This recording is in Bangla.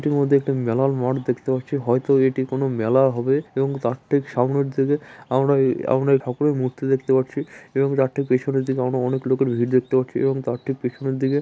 মধ্যে মেলার মাঠ দেখতে পাচ্ছি। হয়তো এটি কোন মেলা হবে এবং ঠিক তার সামনের দিকে আমরা এই আমরা এই ঠাকুরের মূর্তি দেখতে পাচ্ছি। এবং তার ঠিক পিছনের দিকে আমরা অনেক লোকের ভিড় দেখতে পাচ্ছি এবং তার ঠিক পিছনে দিকে--